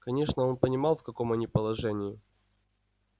конечно он понимал в каком они положении